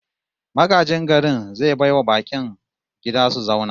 Magajin garin zai bai wa bakin gida su zauna